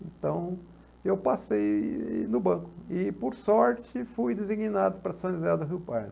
Então, eu passei no banco e, por sorte, fui designado para São José do Rio Pardo.